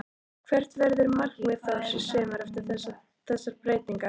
Hvert verður markmið Þórs í sumar eftir þessar breytingar?